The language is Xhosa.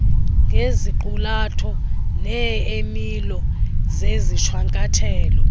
ngeziqulatho neemilo zezishwankathelo